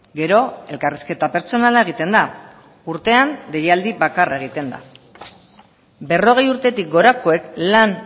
gero elkarrizketa pertsonala egiten da urtean deialdi bakarra egiten da berrogei urtetik gorakoek lan